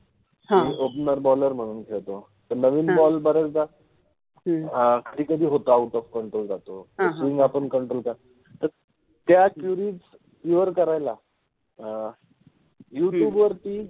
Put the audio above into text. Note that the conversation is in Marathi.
हा, मि ओपनर {opener} बॉलर {boller} मणुन खेळतो, नविन बॉल {ball} बर्याचदा अ कधि कधि होतो आपण आउट ऑफ कंट्रोल जातो त्या क्युरिज {queries} क्युअर {cure} करायला अ क्युरिज